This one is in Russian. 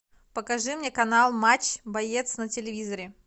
покажи мне канал матч боец на телевизоре